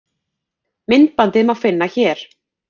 Myndbandið má finna hér.